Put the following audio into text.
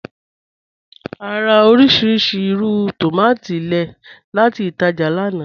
À rà orísíríṣí ìrù tómatì lẹ́ẹ̀ láti ìtàjá lána.